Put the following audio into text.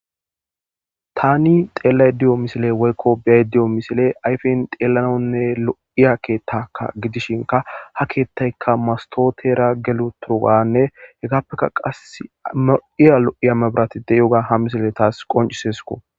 tani xeellay diyo misile woykko biyay diyo misile ayfen xeellanonne lo7iya keettaka gidishinka ha keettayka mastotera gelu turuganne hekappeka qa ma7iya lo7iya mabiratide yoga ha misile taas qoncisesko